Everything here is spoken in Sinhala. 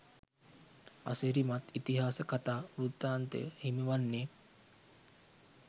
අසිරිමත් ඉතිහාස කතා වෘත්තාන්තය හිමිවන්නේ